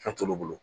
Fɛn t'olu bolo